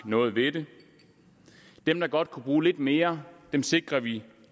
noget ved det dem der godt kunne bruge lidt mere sikrer vi